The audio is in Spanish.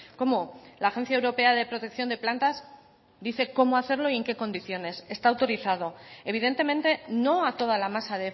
cómo la agencia europea de protección de plantas dice cómo hacerlo y en qué condiciones está autorizado evidentemente no a toda la masa